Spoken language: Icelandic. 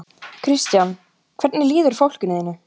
Kristján: Hvernig líður fólkinu þínu?